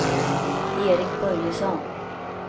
Eric Börjesson